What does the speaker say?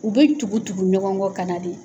U bɛ tugu tugu ɲɔgɔn kɔ ka na de.